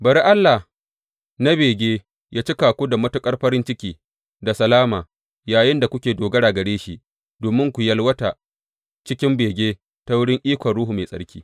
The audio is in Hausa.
Bari Allah na bege yă cika ku da matuƙar farin ciki da salama yayinda kuke dogara gare shi, domin ku yalwata cikin bege ta wurin ikon Ruhu Mai Tsarki.